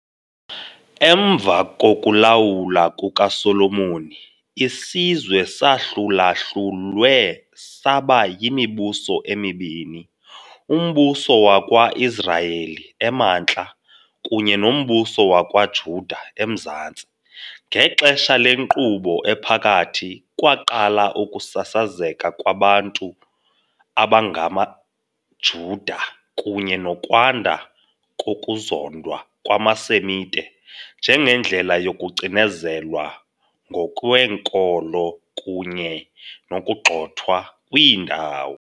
Emva kokulawula kukaSolomoni, isizwe sahlulahlulwe saba yimibuso emibini - uMbuso wakwa-Israyeli, emantla, kunye noMbuso wakwaJuda, emzantsi. Ngexesha leNkqubo Ephakathi, kwaqala ukusasazeka kwabantu abangamaJuda, kunye nokwanda kokuzondwa kwamaSemite njengendlela yokucinezelwa ngokweenkolo kunye nokugxothwa kwiindawo.